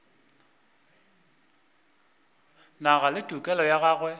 nago le tokelo ya go